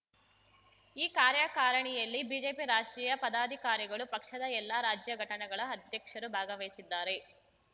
ಈ ಕಾರ್ಯಕಾರಿಣಿಯಲ್ಲಿ ಬಿಜೆಪಿ ರಾಷ್ಟ್ರೀಯ ಪದಾಧಿಕಾರಿಗಳು ಪಕ್ಷದ ಎಲ್ಲ ರಾಜ್ಯ ಘಟನೆಗಳ ಅಧ್ಯಕ್ಷರು ಭಾಗವಹಿಸಿದ್ದಾರೆ